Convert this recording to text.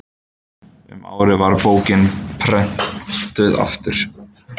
um árið var bókin prenntuð aftur